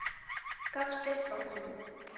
Gafst upp á honum.